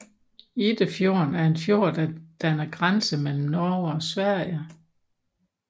Iddefjorden er en fjord der danner grænse mellem Norge og Sverige